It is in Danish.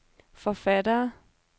forfattere